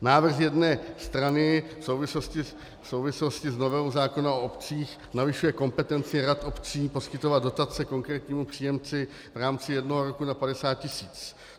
Návrh z jedné strany v souvislosti s novelou zákona o obcích zvyšuje kompetenci rad obcí poskytovat dotace konkrétnímu příjemci v rámci jednoho roku na 50 tisíc.